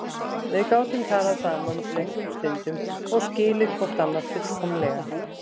Við gátum talað saman löngum stundum og skilið hvort annað fullkomlega.